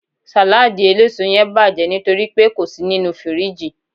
saladi eleso yen baje nitoripe ko si ninu firiji